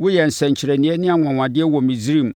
Woyɛɛ nsɛnkyerɛnneɛ ne anwanwadeɛ wɔ Misraim